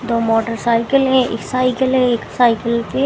दो मोटरसाइकल है इ साइकल है एक साइकल के--